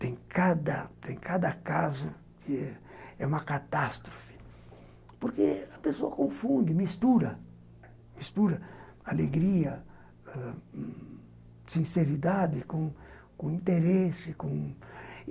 Tem cada tem cada caso que é uma catástrofe, porque a pessoa confunde, mistura, mistura alegria, sinceridade com interesse com